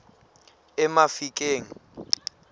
emafikeng